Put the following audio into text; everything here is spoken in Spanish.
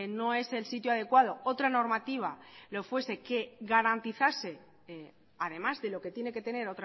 no es el sitio adecuado otra normativa lo fuese que garantizase además de lo que tiene que tener